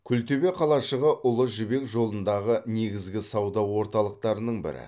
күлтөбе қалашығы ұлы жібек жолындағы негізгі сауда орталықтарының бірі